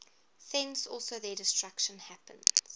thence also their destruction happens